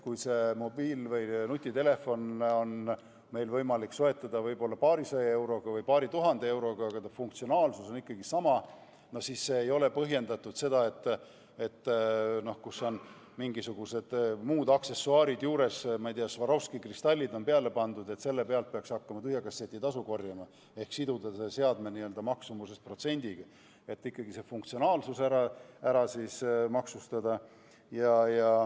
Kui mobiil- või nutitelefoni on meil võimalik soetada kas paarisaja või paari tuhande euroga, aga ta funktsionaalsus on ikkagi sama, no siis ei ole põhjendatud, et selliselt seadmelt, kus on mingisugused muud aksessuaarid juures, ma ei tea, Swarovski kristallid peale pandud vms, peaks hakkama rohkem tühja kasseti tasu korjama või siduma seda seadme maksumusest protsendiga, vaid tuleks ikkagi funktsionaalsust maksustada.